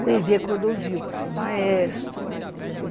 O Hervé Cordovil, que foi o maestro, entendeu? Ah...